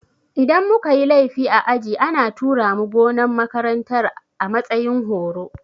Idan muka yi laifi a aji ana tura mu gonan makarantar a matsayin horo